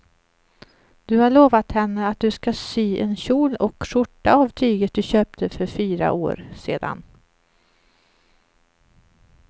Du har lovat henne att du ska sy en kjol och skjorta av tyget du köpte för fyra år sedan.